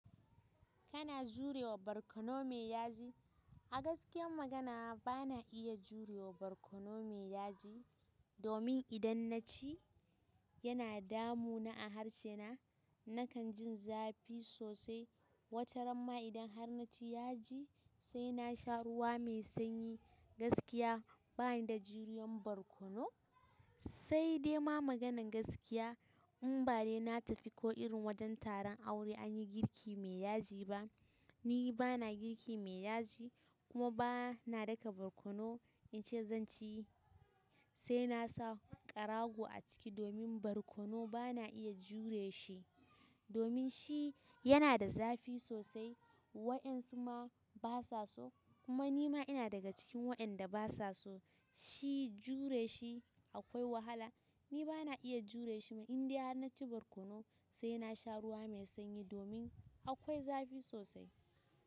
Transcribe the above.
Kana jurewa barkono mai yaji? A gaskiyan magana bana iya jurewa barkono mai yaji. Domin idan naci yana damu na a harce na, nakan ji zafi sosai. Wata ramma idan har naci yaji, sai na sha ruwa mai sanyi. Gaskiya bani da juriyar barkono. Sai dai ma maganan gaskiya, in ba de na tafi ko irin wajen taron aure anyi girki mai yaji ba, ni bana girki mai yaji kuma bana daka barkono in ce zan ci, sai na sa karago a ciki domin barkono bana iya jure shi. Domin shi yana da zafi sosai wa'yansu ma basa so, kuma nima ina daga cikin wa'yanda basa so, shi jureshi akwai wahala. Ni bana iya jure shi ma indai har naci barkono sai na sha ruwa mai sanyi domin akwai zafi sosai.